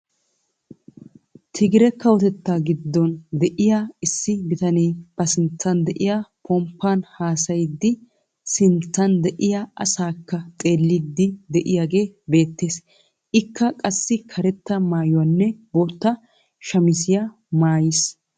Tigiree kawottettaa giddon de'iyaa issi bitanee ba sinttan de'iyaa pomppaan haasayiidi sinttaan de'iyaa asakka xeelliidi de'iyaage beettees. ikka qassi karetta mayuwaanne bootta shamisiyaa maayiis.